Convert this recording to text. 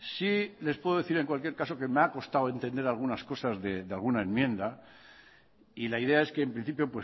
sí les puedo decir en cualquier caso que me ha costado entender algunas cosas de alguna enmienda y la idea es que en principio